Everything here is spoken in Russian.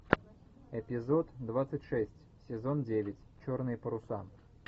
эпизод двадцать шесть сезон девять черные паруса